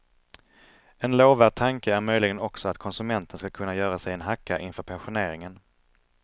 En lovvärd tanke är möjligen också att konsumenten skall kunna göra sig en hacka inför pensioneringen.